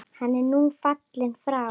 Hann er nú fallinn frá.